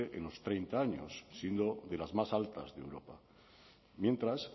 en los treinta años siendo de las más altas de europa mientras